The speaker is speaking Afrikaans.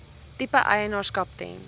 tipe eienaarskap ten